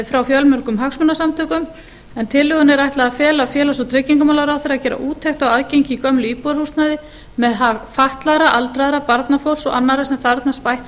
frá fjölmörgum hagsmunasamtökum tillögunni er ætlað að fela félags og tryggingamálaráðherra að gera úttekt á aðgengi í gömlu íbúðarhúsnæði með hag fatlaðra aldraðra barnafólks og annarra sem þarfnast bætts